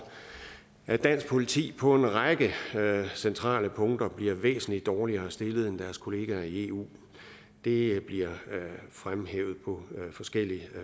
at dansk politi på en række centrale punkter bliver væsentligt dårligere stillet end deres kollegaer i eu det bliver fremhævet på forskellig